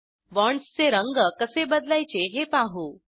बॉण्ड्सचे रंग कसे बदलायचे हे पाहू